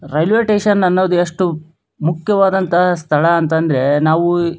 railway station ಅನ್ನೋದು ಎಷ್ಟು ಮುಖ್ಯವಾದ ಸ್ಥಳ ಅಂತಂದ್ರೆ ನಾವು --